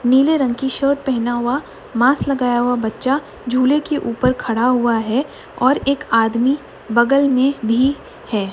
नीले रंग की शर्ट पहने हुआ मास्क लगाया हुआ बच्चा झूले के ऊपर खड़ा हुआ है और एक आदमी बगल में भी है।